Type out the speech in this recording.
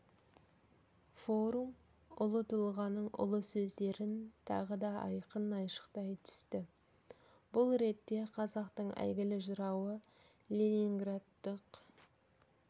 форум ұлы тұлғаның ұлы сөздерін тағы да айқын айшықтай түсті бұл ретте қазақтың әйгілі жырауы ленинградтық